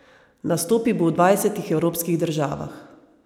Nastopil bo v dvajsetih evropskih državah.